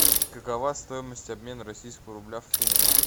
какова стоимость обмена российского рубля в фунты